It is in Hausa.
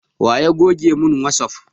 Wa ya goge mun wasup